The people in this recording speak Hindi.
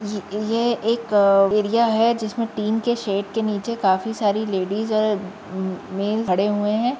ये एक एरिया है जिसमें टिन के शेट के निचे काफी सारी लेडिज और अ मेन खड़े हुए हैं।